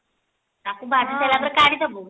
ତାକୁ ଭାଜି ସାରିଲା ପରେ କାଢିଦେବୁ